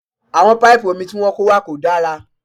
Àwọn paipu omi tí wọ́n kó wá kò dára